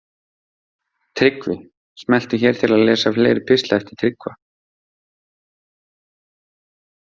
Tryggvi Smelltu hér til að lesa fleiri pistla eftir Tryggva